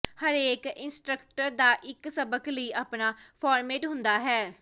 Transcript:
ਹਰੇਕ ਇੰਸਟ੍ਰਕਟਰ ਦਾ ਇੱਕ ਸਬਕ ਲਈ ਆਪਣਾ ਫਾਰਮੈਟ ਹੁੰਦਾ ਹੈ